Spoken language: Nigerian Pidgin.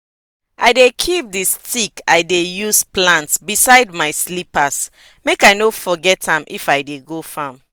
i dey keep di stick i dey use plant beside my slippers make i no forget am if i dey go farm.